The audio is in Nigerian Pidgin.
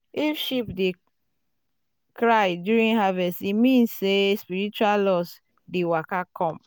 if sheep dey cry during harvest e mean um say spiritual loss um dey waka come. um